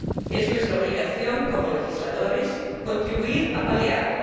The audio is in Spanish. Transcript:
Es nuestra obligación, como legisladores, contribuir a paliarlo.